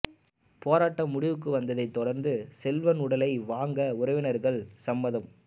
போராட்டம் முடிவுக்கு வந்ததை தொடர்ந்து செல்வன் உடலை வாங்க உறவினர்கள் சம்மதம்